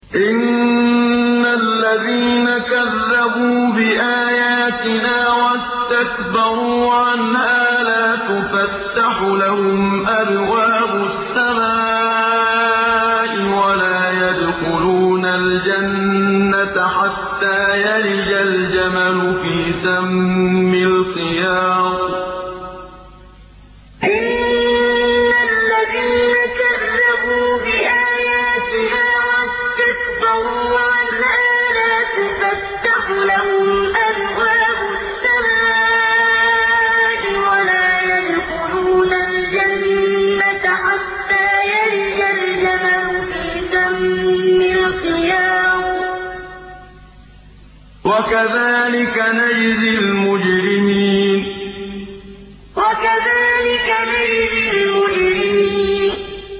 إِنَّ الَّذِينَ كَذَّبُوا بِآيَاتِنَا وَاسْتَكْبَرُوا عَنْهَا لَا تُفَتَّحُ لَهُمْ أَبْوَابُ السَّمَاءِ وَلَا يَدْخُلُونَ الْجَنَّةَ حَتَّىٰ يَلِجَ الْجَمَلُ فِي سَمِّ الْخِيَاطِ ۚ وَكَذَٰلِكَ نَجْزِي الْمُجْرِمِينَ إِنَّ الَّذِينَ كَذَّبُوا بِآيَاتِنَا وَاسْتَكْبَرُوا عَنْهَا لَا تُفَتَّحُ لَهُمْ أَبْوَابُ السَّمَاءِ وَلَا يَدْخُلُونَ الْجَنَّةَ حَتَّىٰ يَلِجَ الْجَمَلُ فِي سَمِّ الْخِيَاطِ ۚ وَكَذَٰلِكَ نَجْزِي الْمُجْرِمِينَ